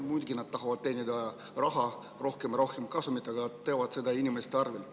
Muidugi tahavad nad teenida raha, rohkem ja rohkem kasumit, aga nad teevad seda inimeste arvel.